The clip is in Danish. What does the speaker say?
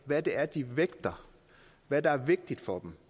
hvad det er de vægter hvad der er vigtigt for dem